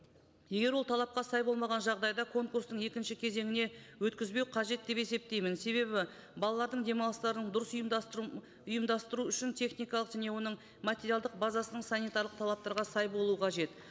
егер ол талапқа сай болмаған жағдайда конкурстың екінші кезеңіне өткізбеу қажет деп есептеймін себебі балалардың демалыстарын дұрыс ұйымдастыру ұйымдастыру үшін техникалық және оның материалдық базасының санитарлық талаптарға сай болуы қажет